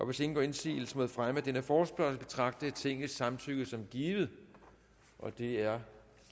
hvis ingen gør indsigelse mod fremme af denne forespørgsel betragter jeg tingets samtykke som givet det er